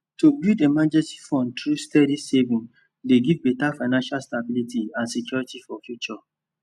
to build emergency fund through steady savings dey give better financial stability and security for future